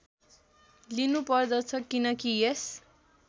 लिनुपर्दछ किनकि यस